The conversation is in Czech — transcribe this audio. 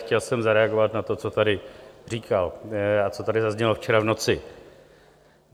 Chtěl jsem zareagovat na to, co tady říkal a co tady zaznělo včera v noci.